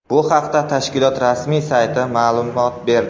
Bu haqda tashkilot rasmiy sayti ma’lumot berdi.